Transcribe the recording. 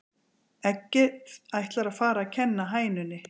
Eggið ætlar að fara að kenna hænunni